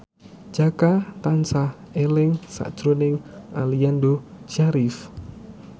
Jaka tansah eling sakjroning Aliando Syarif